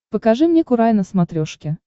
покажи мне курай на смотрешке